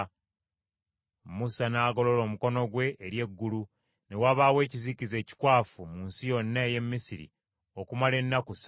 Musa n’agolola omukono gwe eri eggulu; ne wabaawo ekizikiza ekikwafu mu nsi yonna ey’e Misiri okumala ennaku ssatu.